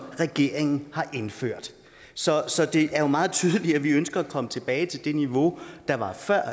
regeringen har indført så så det er jo meget tydeligt at vi ønsker at komme tilbage til det niveau der var før